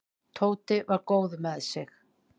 Tóti var góður með sig.